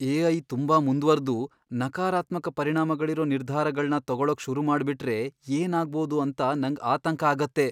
AI. ತುಂಬಾ ಮುಂದ್ವರ್ದು ನಕಾರಾತ್ಮಕ ಪರಿಣಾಮಗಳಿರೋ ನಿರ್ಧಾರಗಳ್ನ ತಗೊಳಕ್ ಶುರುಮಾಡ್ಬಿಟ್ರೆ ಏನಾಗ್ಬೋದು ಅಂತ ನಂಗ್ ಆತಂಕ ಆಗತ್ತೆ.